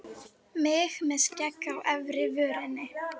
Mig með skegg á efri vörinni.